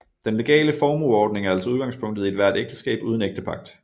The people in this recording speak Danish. Den legale formueordning er altså udgangspunktet i ethvert ægteskab uden ægtepagt